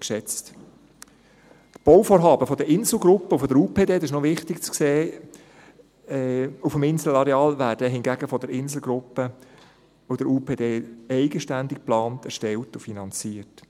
Die Bauvorhaben der Insel-Gruppe und der Universitären Psychiatrischen Dienste Bern (UPD) auf dem Inselareal – das ist noch wichtig zu sehen – werden hingegen von der Insel-Gruppe und der UPD eigenständig geplant, erstellt und finanziert.